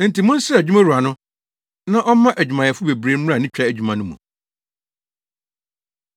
Enti monsrɛ adwumawura no na ɔmma adwumayɛfo bebree mmra ne twa adwuma no mu.”